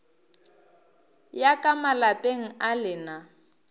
ya ka malapeng a lena